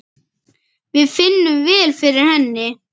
Við finnum vel fyrir henni.